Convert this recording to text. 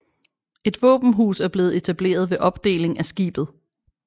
Et våbenhus er blevet etableret ved opdeling af skibet